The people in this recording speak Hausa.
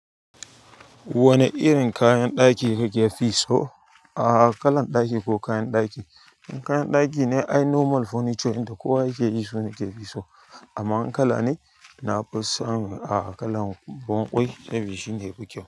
Wane irin kayan ɗaki kake fi so, ah kalan ɗaki ko kayan ɗaki? In kayan ɗaki ne, ai normal furniture inda kowa yake yi su yake so. Amma wani kala ne, nafi son ah kalan ruwan kwai saboda shine yafi kyau.